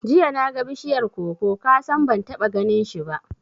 Jiya naga bishiyar koko, kasan ban taɓa ganinshi ba